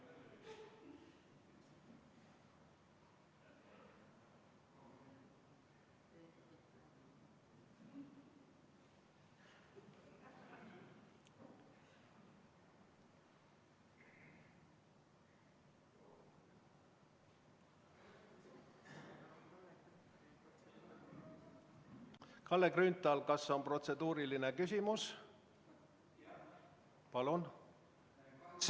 Kalle Grünthal, kas on protseduuriline küsimus?